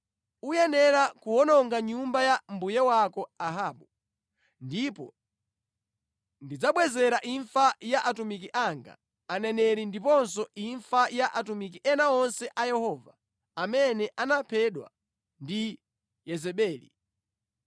Uyenera kuwononga nyumba ya mbuye wako Ahabu ndipo ndidzabwezera imfa ya atumiki anga, aneneri ndiponso imfa ya atumiki ena onse a Yehova amene anaphedwa ndi Yezebeli.